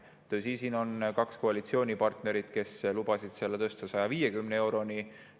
Tõsi, siin on kaks koalitsioonipartnerit, kes lubasid selle tõsta 150 euroni.